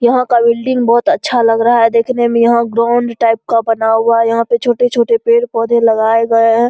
यहा का बिल्डिंग बहोत अच्छा लग रहा है देखने में यहाँ ग्रोंड टाइप का बना हुआ है यहा पे छोटे-छोटे पेड़-पौधे लगाये गए हैं।